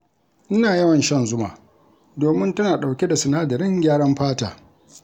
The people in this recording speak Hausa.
Ina yawan shan zuma domin tana ɗauke da sinadarin gyaran fata.